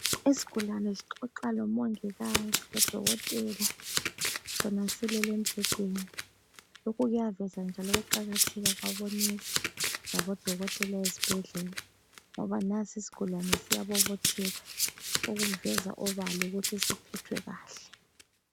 Isigulane sixoxalo mongikazi lo dokotela. Sona silele embedeni lokhu kuyaveza njalo ukuqakatheka kwabo nurse laboDokotela esibhedlela ngoba nansi isgulane siyabobotheka kuveza obala ukuthi siphethwe kahle.